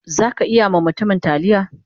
Zaka iya ma mutumin talliya?